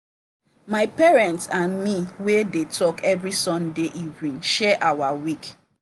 my parents and me we dey talk every sunday evening share our week.